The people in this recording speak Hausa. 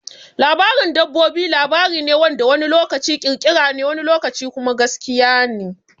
Labarin dabbobi labari ne wanda wani lokaci ƙirƙirarre ne wani lokaci kuma gaskiya ne.